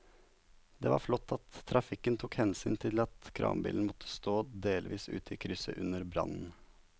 Det var flott at trafikken tok hensyn til at kranbilen måtte stå delvis ute i krysset under brannen.